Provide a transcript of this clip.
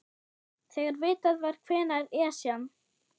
Þegar vitað var hvenær Esjan